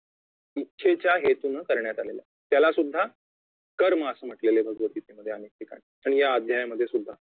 इच्छेच्या हेतूने करण्यात आलेला त्यालासुद्धा कर्म असे म्हटलेले आहे भगवतगीतेमध्ये अनेक ठिकाणी आणि या अध्यायामध्ये सुद्धा